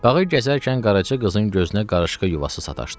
Bağı gəzərkən Qaraca qızın gözünə qarışqa yuvası sataşdı.